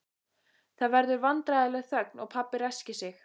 Það verður vandræðaleg þögn og pabbi ræskir sig.